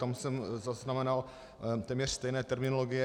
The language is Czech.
Tam jsem zaznamenal téměř stejné terminologie.